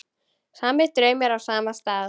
Sami draumur á sama stað.